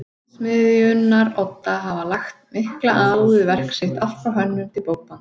Prentsmiðjunnar Odda hafa lagt mikla alúð við verk sitt allt frá hönnun til bókbands.